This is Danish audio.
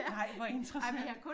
Nej hvor interessant